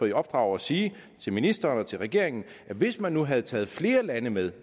i opdrag at sige til ministeren og til regeringen at hvis man nu havde taget flere lande med